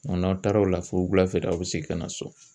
N'aw taara o la fo wulafɛ de aw bɛ segin ka na so